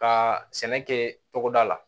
Ka sɛnɛ kɛ togoda la